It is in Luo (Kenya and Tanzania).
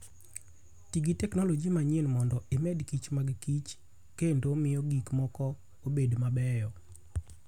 Ti gi teknoloji manyien mondo imed kich mag kich kendo miyo gik moko obed mabeyo.